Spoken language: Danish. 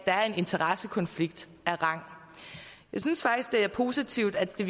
er en interessekonflikt af rang jeg synes faktisk det er positivt at det